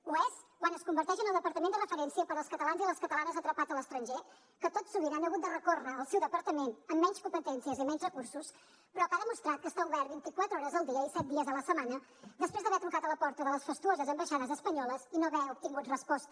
ho és quan es converteix en el departament de referència per als catalans i les catalanes atrapats a l’estranger que tot sovint han hagut de recórrer al seu departament amb menys competències i menys recursos però que ha demostrat que està obert vint i quatre hores al dia i set dies a la setmana després d’haver trucat a la porta de les fastuoses ambaixades espanyoles i no haver obtingut resposta